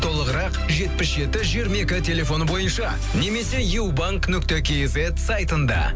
толығырақ жетпіс жеті жиырма екі телефоны бойынша немесе ю банк нүкте кизет сайтында